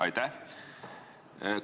Aitäh!